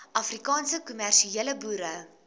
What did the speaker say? afrikaanse kommersiële boere